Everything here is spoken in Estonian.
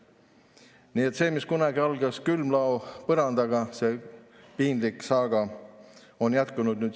Nii et saaga, mis kunagi algas külmlao põrandaga, see piinlik saaga on siin jätkunud.